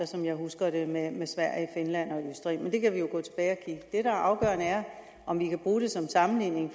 som jeg husker det med sverige finland og østrig men det kan vi jo gå tilbage er afgørende er om vi kan bruge det som sammenligning